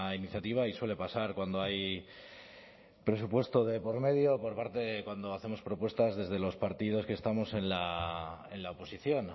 iniciativa y suele pasar cuando hay presupuesto de por medio por parte cuando hacemos propuestas desde los partidos que estamos en la oposición